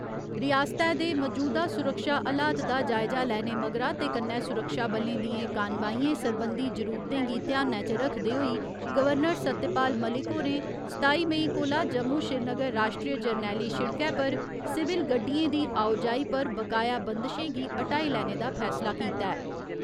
रिआसतै दे मजूदा सुरक्षा हलात दा जायजा लैने मगरा ते कन्नै सुरक्षा बलें दियें कानवाइयें सरबंधी जरूरतें गी ध्यानै च रक्खदे होई गवर्नर सत्यपाल मलिक होरें सताई मेई कोला जम्मू श्रीनगर राश्ट्रीय जरनैली शिड़कै पर सिविल गड्डियें दी आओजाई पर बकाया बंदशें गी ह्‌टाई लैने दा फैसला कीता ऐ।